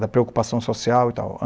da preocupação social e tal.